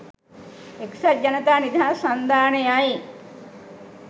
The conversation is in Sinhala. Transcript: එක්සත් ජනතා නිදහස් සන්ධානයයි